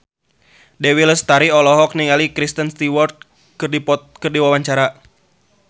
Dewi Lestari olohok ningali Kristen Stewart keur diwawancara